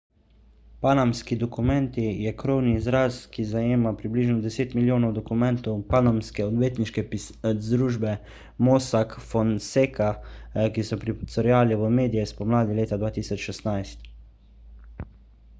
panamski dokumenti je krovni izraz ki zajema približno deset milijonov dokumentov panamske odvetniške družbe mossack fonseca ki so pricurljali v medije spomladi leta 2016